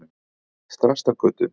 Þrastargötu